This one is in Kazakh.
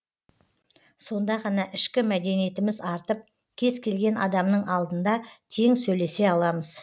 сонда ғана ішкі мәдениетіміз артып кез келген адамның алдында тең сөйлесе аламыз